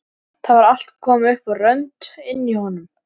Það var allt komið upp á rönd inni í honum!